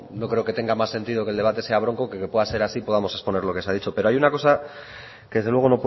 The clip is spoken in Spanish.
no creo que tenga más sentido que el debate sea bronco que que pueda ser así y podamos exponer lo que se ha dicho pero hay una cosa que desde luego